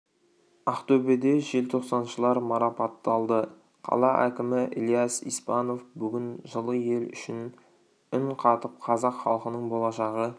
ақтөбеде желтоқсаншылар марапатталды қала әкімі ілияс испанов бүгін жылы ел үшін үн қатып қазақ халқының болашағы